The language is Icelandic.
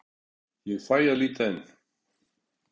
Ég fæ að líta inn.